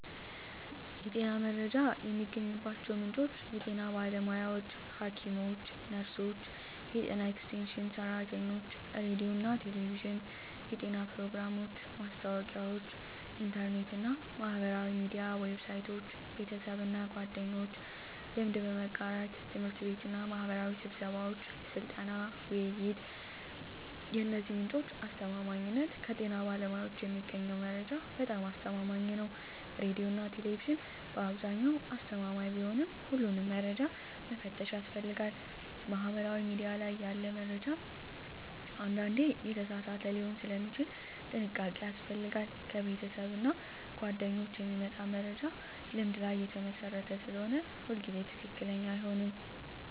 የጤና መረጃ የሚገኝባቸው ምንጮች የጤና ባለሙያዎች (ሐኪሞች፣ ነርሶች፣ የጤና ኤክስቴንሽን ሰራተኞች) ሬዲዮና ቴሌቪዥን (የጤና ፕሮግራሞች፣ ማስታወቂያዎች) ኢንተርኔት እና ማህበራዊ ሚዲያ ዌብሳይቶች) ቤተሰብና ጓደኞች (ልምድ በመጋራት) ት/ቤትና ማህበራዊ ስብሰባዎች (ስልጠና፣ ውይይት) የእነዚህ ምንጮች አስተማማኝነት ከጤና ባለሙያዎች የሚገኘው መረጃ በጣም አስተማማኝ ነው ሬዲዮና ቴሌቪዥን በአብዛኛው አስተማማኝ ቢሆንም ሁሉንም መረጃ መፈተሽ ያስፈልጋል ማህበራዊ ሚዲያ ላይ ያለ መረጃ አንዳንዴ የተሳሳተ ሊሆን ስለሚችል ጥንቃቄ ያስፈልጋል ከቤተሰብና ጓደኞች የሚመጣ መረጃ ልምድ ላይ የተመሰረተ ስለሆነ ሁሉ ጊዜ ትክክለኛ አይሆንም